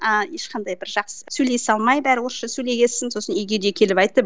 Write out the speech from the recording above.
ыыы ешқандай бір жақсы бір сөйлесе алмай бәрі орысша сөйлеген соң сосын үйге де келіп айтты